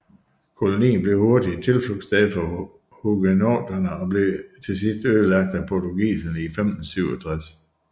Kolonien blev hurtigt et tilflugtssted for huguenoterne og blev til sidst ødelagt af portugiserne i 1567